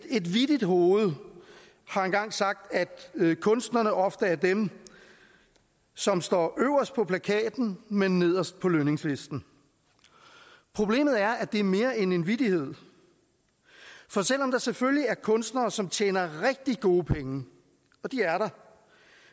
et vittigt hoved har engang sagt at kunstnerne ofte er dem som står øverst på plakaten men nederst på lønningslisten problemet er at det er mere end en vittighed for selv om der selvfølgelig er kunstnere som tjener rigtig gode penge og det er der